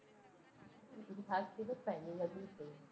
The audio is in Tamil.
நான் கேட்பேன் நீ பதில் சொல்லு